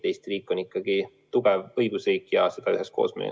Eesti riik on ikkagi tugev õigusriik ja seda me üheskoos ehitame.